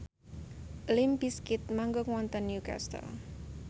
limp bizkit manggung wonten Newcastle